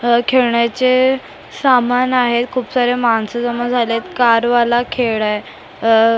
अ खेळण्याचे सामान आहेत खूप सारे माणसं जमा झाले आहेत कार वाला खेळ आहे अ --